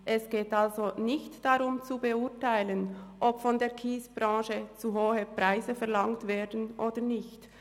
Es geht also nicht darum zu beurteilen, ob von der Kiesbranche zu hohe Preise verlangt werden oder nicht.